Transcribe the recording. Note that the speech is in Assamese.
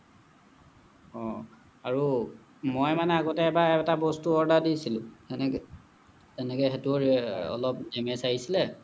অহ আৰু মই মানে আগতে এবাৰ এটা বস্তু order দিছিলোঁ এনেকে এনেকে সেইতোও অলপ damage আহিছিলে